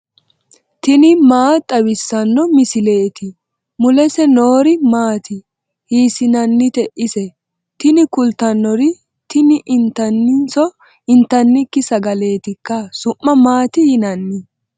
tini maa xawissanno misileeti ? mulese noori maati ? hiissinannite ise ? tini kultannori tini intanniniso intannikki sagaleetikka su'ma maati yinanni